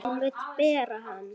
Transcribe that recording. Hún vill bera hana.